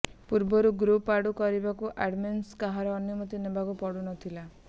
ପୂର୍ବରୁ ଗ୍ରୁପ୍ରେ ଆଡ୍ କରିବାକୁ ଆଡମିନ୍କୁ କାହାର ଅନୁମତି ନେବାକୁ ପଡୁନଥିଲା